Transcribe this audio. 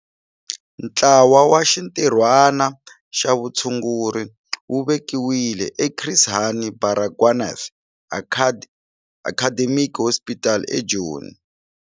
Ntlawa wa Xintirhwana xa Vutshunguri wu vekiwile eChris Hani Baragwanath Academic Hospital eJoni.